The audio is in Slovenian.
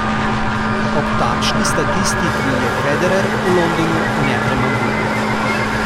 Ob takšni statistiki je Federer v Londonu nepremagljiv.